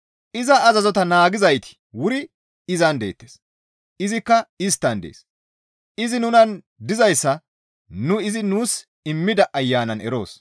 Iza azazota naagizayti wuri izan deettes; izikka isttan dees; izi nunan dizayssa nu izi nuus immida Ayanan eroos.